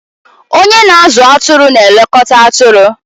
Onye na-azụ atụrụ na-elekọta atụrụ.